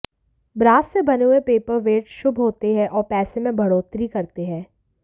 brass से बने हुए पेपर वेट शुभ होते हैं और पैसे में बढौतरी करते हैं